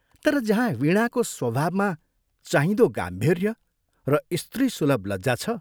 तर जहाँ वीणाको स्वभावमा चाहिँदो गाम्भीर्य र स्त्रीसुलभ लज्जा छ।